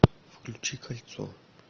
включи кольцо